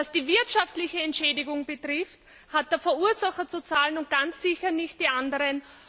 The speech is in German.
Was die wirtschaftliche Entschädigung betrifft, hat der Verursacher zu zahlen und ganz sicher nicht die anderen.